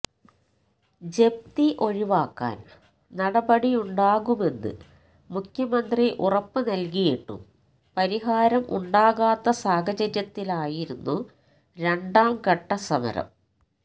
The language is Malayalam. ജപ്തി ഒഴിവാക്കാൻ നടപടിയുണ്ടാകുമെന്ന് മുഖ്യമന്ത്രി ഉറപ്പ് നൽകിയിട്ടും പരിഹാരം ഉണ്ടാകാത്ത സാഹചര്യത്തിലായിരുന്നു രണ്ടാം ഘട്ട സമരം